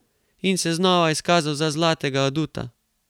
In se znova izkazal za zlatega aduta.